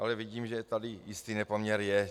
Ale vidím, že tady jistý nepoměr je.